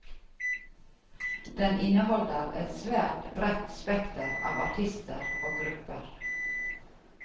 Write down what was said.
Den inneholder et svært bredt spekter av artister og grupper.